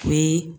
Ni